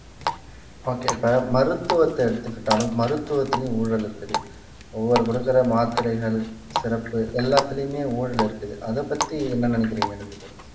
okay இப்ப மருத்துவத்தை எடுத்துக்கிட்டாலும் மருத்துவத்திலயும் ஊழல் இருக்குது ஒவ்வொரு கொடுக்கிற மாத்திரைகள் சிறப்பு எல்லாத்துலையுமே ஊழல் இருக்குது அதைப் பத்தி என்ன நினைக்கிறீங்க ரெண்டு பேரும்